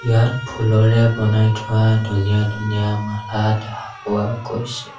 ইয়াত ফুলৰে বনাই থোৱা ধুনীয়া ধুনীয়া মালা দেখা পোৱা গৈছে।